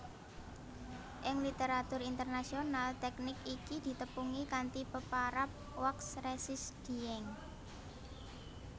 Ing literatur Internasional tèknik iki ditepungi kanthi peparab wax resist dyeing